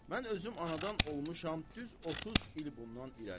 Mən özüm anadan olmuşam düz 30 il bundan irəli.